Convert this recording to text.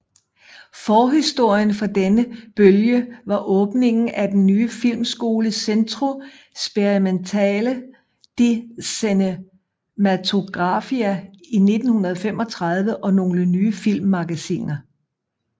Forhistorien for denne bølge var åbningen af den nye filmskole Centro Sperimentale di Cinematografia i 1935 og nogle nye filmmagasiner